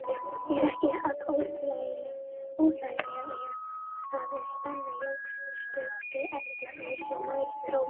Er ekki að orðlengja það, að spennan jókst stöðugt eftir því sem nær dró Grímsstöðum.